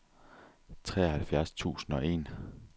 treoghalvfjerds tusind og en